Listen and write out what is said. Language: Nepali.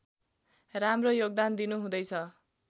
राम्रो योगदान दिनुहुँदैछ